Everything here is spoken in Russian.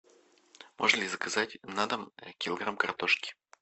можно ли заказать на дом килограмм картошки